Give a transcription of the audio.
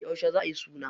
Yauce za ayi suna?